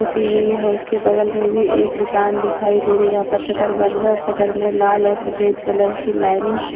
पुती हुई है उसके बगल में भी एक दुकान दिखाई दे रही है जहां पर शटर बंद है और शटर में लाल और सफेद कलर की लाइनिंग --